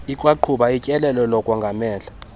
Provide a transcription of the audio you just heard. ikwaqhuba utyelelo lokongamela